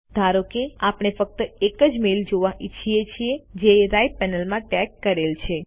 ધારો કે આપણે ફક્ત એજ મેઈલ જોવા ઈચ્છીએ છીએ જે રાઈટ પેનલમાં ટેગ કરેલ છે